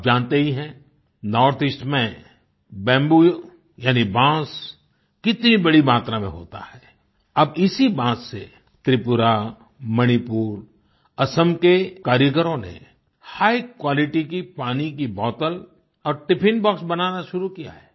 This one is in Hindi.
आप जानते ही हैं नॉर्थ ईस्ट में बम्बू यानी बाँस कितनी बड़ी मात्रा में होता है अब इसी बाँस से त्रिपुरा मणिपुर असम के कारीगरों ने हिघ क्वालिटी की पानी की बोतल और टिफिन बॉक्स बनाना शुरू किया है